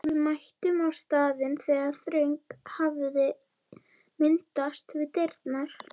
Við mættum á staðinn þegar þröng hafði myndast við dyrnar.